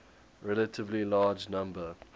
relatively large number